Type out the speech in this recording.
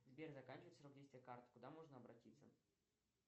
сбер заканчивается срок действия карты куда можно обратиться